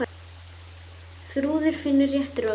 Þrúður finnur réttu orðin.